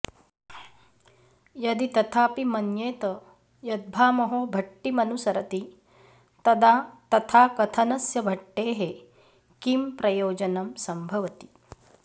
यदि तथापि मन्येत यद्भामहो भट्टिमनुसरति तदा तथाकथनस्य भट्टेः किं प्रयोजनं सम्भवति